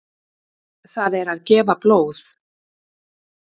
Það er gefa blóð.